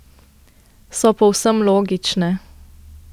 So povsem logične.